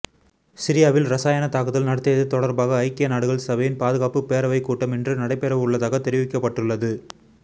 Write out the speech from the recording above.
சிரியாவில் ரசாயன தாக்குதல் நடத்தியது தொடர்பாக ஐக்கிய நாடுகள் சபையின் பாதுகாப்பு பேரவைக் கூட்டம் இன்று நடைபெறவுள்ளதாக தெரிவிக்கப்பட்டுள்ளது